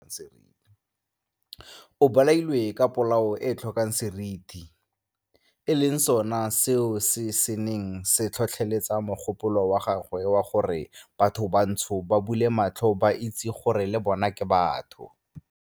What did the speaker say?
O bolailwe ka polao e e tlhokang seriti, e leng sona selo se se neng se tlhotlheletsa mogopolo wa gagwe wa gore bathobantsho ba bule matlho ba itse gore le bona ke batho.